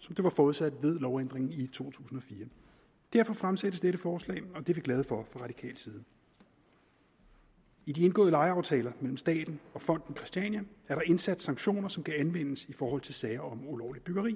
som det var forudsat ved lovændringen i to tusind og fire derfor fremsættes dette forslag og det er vi glade for fra radikal side i de indgåede lejeaftaler mellem staten og fonden christiania er der indsat sanktioner som kan anvendes i forhold til sager om ulovligt byggeri